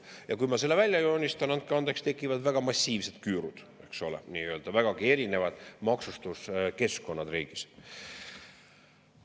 Ja kui ma selle välja joonistan, andke andeks, siis tekivad väga massiivsed küürud, eks ole, vägagi erinevad maksustuskeskkonnad riigis.